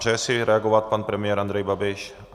Přeje si reagovat pan premiér Andrej Babiš?